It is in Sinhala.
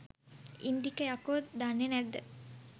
ඉන්දික යකො දන්නෙ නැද්ද